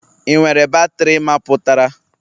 Ị nwere batrị mapụtara?